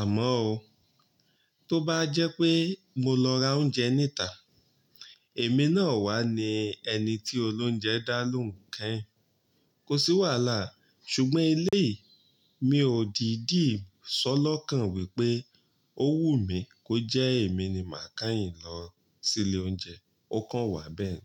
Àmọ́ ó, tó bá jẹ́ pé mo lọ ra oúnjẹ níta, èmi náà wá ni ẹni tí olóúnjẹ dá lóùn kẹ́yìn. Kò sí wàhálà, ṣùgbọ́n ilé mi ò dìdí sọ lọ́kàn wípé ó wù mí kó jẹ́ èmi ni màá kẹ́yìn lọ sí ilé oúnjẹ. Ó kàn wá bẹ́ẹ̀ ni.